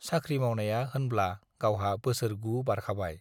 साख्रि मावनाया होनब्ला गावहा बोसोर गु बारखाबाय।